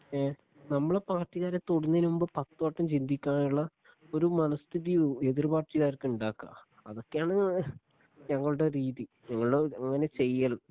ഏ നമ്മുടെ പാർട്ടിക്കാരെ തൊടുന്നതിന് മുൻപ് പത്തുവട്ടം ചിന്തിക്കാനുള്ള ഒരു മനസ്ഥിതി എതിർ പാർട്ടിക്കാർക്ക് ഉണ്ടാക്കുക അതൊക്കെയാണ് ഞങ്ങളുടെ രീതി ഞങ്ങളുടെ അങ്ങനെ ചെയ്യൽ